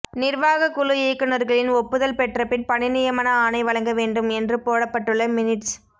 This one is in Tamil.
நிர்வாக குழு இயக்குனர்களின் ஒப்புதல் பெற்றபின் பணி நியமன ஆணை வழங்கவேண்டும் என்று போடப்பட்டுள்ள மினிட்ஸ்